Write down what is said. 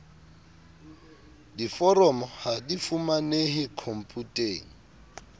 diforomo ha di fumanehe khomputeng